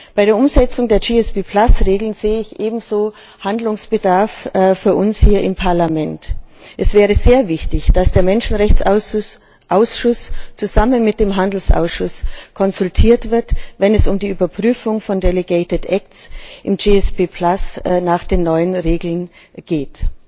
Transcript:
Bei der Umsetzung der GSB Regeln sehe ich ebenso Handlungsbedarf für uns hier im Parlament. Es wäre sehr wichtig, dass der Menschenrechtsausschuss zusammen mit dem Handelsausschuss konsultiert wird, wenn es um die Prüfung von delegierten Rechtsakten im GSB nach den neuen Regeln geht.